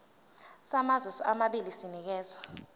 samazwe amabili sinikezwa